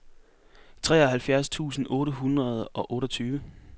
treoghalvfjerds tusind otte hundrede og otteogtyve